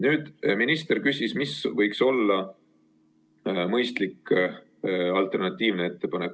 Nüüd, minister küsis, mis võiks olla mõistlik alternatiivne ettepanek.